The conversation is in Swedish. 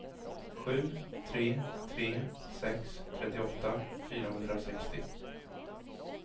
sju tre tre sex trettioåtta fyrahundrasextio